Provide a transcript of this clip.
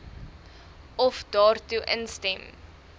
of daartoe instem